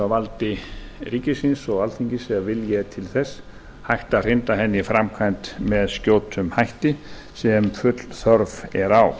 valdi ríkisins og alþingis ef vilji er til þess hægt að hrinda henni í framkvæmd með skjótum hætti sem full þörf er á